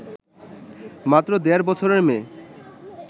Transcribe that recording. মাত্র দেড় বছরের মেয়ে